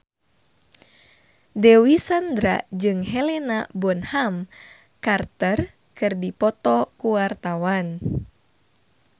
Dewi Sandra jeung Helena Bonham Carter keur dipoto ku wartawan